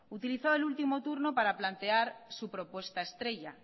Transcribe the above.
utilizaba el último turno para plantear su propuesta estrella